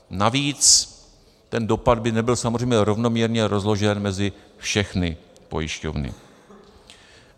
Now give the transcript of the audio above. Navíc ten dopad by nebyl samozřejmě rovnoměrně rozložen mezi všechny pojišťovny.